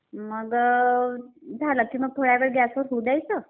मग झाला की मग थोडा वेळ गॅसवर होऊ द्यायचं